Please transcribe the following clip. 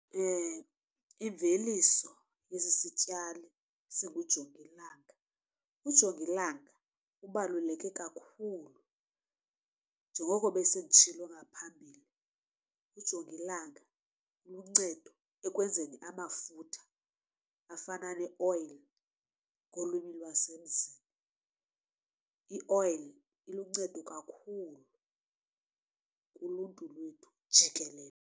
Imveliso yesi sityalo singujongilanga ujongilanga ubaluleke kakhulu njengoko besenditshilo ngaphambili. Ujongilanga uluncedo ekwenzeni amafutha afana neoyile ngolwimi lwasemzini. Ioyile iluncedo kakhulu kuluntu lwethu jikelele.